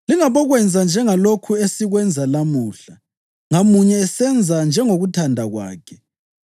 Lingabokwenza njengalokhu esikwenza lamuhla, ngamunye esenza njengokuthanda kwakhe,